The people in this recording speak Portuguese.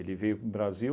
veio para o Brasil